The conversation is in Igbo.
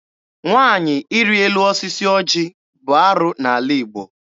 Nwaanyị ịrị elu osisi ọjị bụ arụ n'ala Igbo.